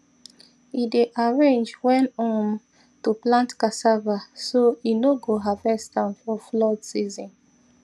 e dey arrange when um to plant cassava so e no go harvest am for flood season